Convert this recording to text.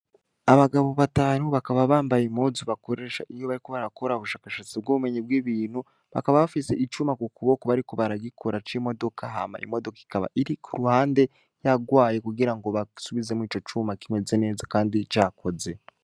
Abagabo batanu bakaba bambaye impuzu bakoresha iyo bariko barakora ubushakashatsi bw'ubumenyi bw'ibintu, bakaba bafise icuma ku kuboko bariko baragikora c'imodoka hama imodoka ikaba iri ku ruhande rwayo kugira ngo basubizemwo ico cuma kimeze neza kandi cakoze.